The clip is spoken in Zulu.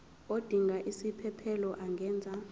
odinga isiphesphelo angenza